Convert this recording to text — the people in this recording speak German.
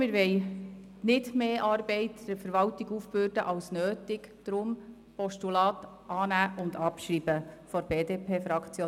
Wir wollen der Verwaltung nicht mehr Arbeit aufbürden als nötig.